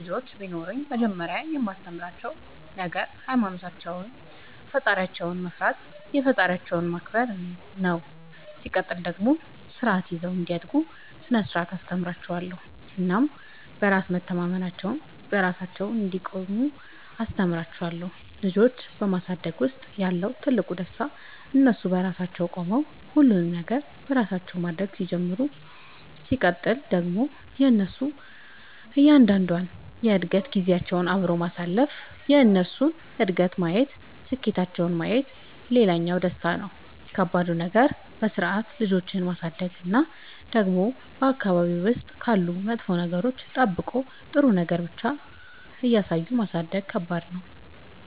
ልጆች ቢኖሩኝ መጀመሪያ የማስተምራቸዉ ነገር ሃይማኖታቸውን ፈጣሪያቸውን መፍራት የፈጠራቸውን ማክበር ነው ሲቀጥል ደግሞ ስርዓት ይዘው እንዲያድጉ ስነ ስርዓት አስተምራችኋለሁ እናም በራስ መተማመናቸውን, በራሳቸው እንዲቆሙ አስተምራቸዋለሁ። ልጆች በማሳደግ ውስጥ ያለው ትልቁ ደስታ እነሱ በራሳቸው ቆመው ሁሉንም ነገር በራሳቸው ማድረግ ሲጀምሩ ሲቀጥል ደግሞ የእነሱን እያንዳንዷን የእድገት ጊዜያቸውን አብሮ ማሳለፍ የእነሱን እድገት ማየት ስኬታቸውን ማየት ሌላኛው ደስታ ነው። ከባዱ ነገር በስርዓት ልጆችን ማሳደግ እና ደግሞ በአካባቢ ውስጥ ካሉ መጥፎ ነገሮች ጠብቆ ጥሩ ነገር ብቻ እያሳዩ ማሳደግ ከባድ ነው።